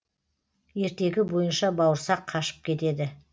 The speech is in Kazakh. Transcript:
ертегі бойынша бауырсақ қашып кетеді